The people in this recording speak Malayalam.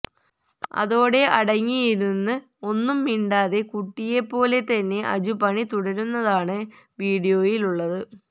അതോടെ അടങ്ങി ഇരുന്ന് ഒന്നും മിണ്ടാതെ കുട്ടിയെപ്പോലെ തന്നെ അജു പണി തുടരുന്നതാണ് വീഡിയോയിലുള്ളത്